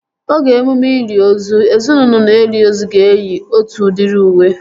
Oge emume ili ozu, ezinaụlọ na-eli ozu ga-eyi otu udiri uwe